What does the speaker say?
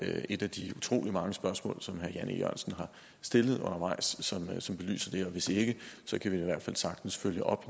er et af de utrolig mange spørgsmål som herre jan e jørgensen har stillet undervejs som belyser det her og hvis ikke kan vi i hvert fald sagtens følge op